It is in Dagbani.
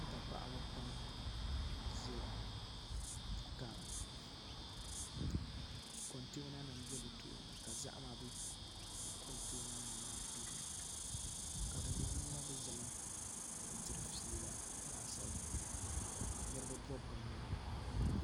Kpɛ paɣaba pam n ʒɛya ka kontɛna nim bɛ bi tooni ka zaham bɛ dinni ka di ŋmanila bi ʒɛmi ka diri fiila laasabu ninvuɣu bobgu n nyɛba